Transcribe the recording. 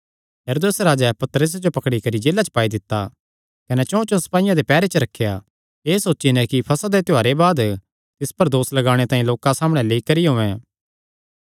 हेरोदेस राजैं पतरसे जो पकड़ी करी जेला च पाई दित्ता कने चौंचौं सपाईयां दे पैहरे च रखेया एह़ सोची नैं कि फसह दे त्योहारे बाद तिस पर दोस लगाणे तांई लोकां सामणै लेई करी औयें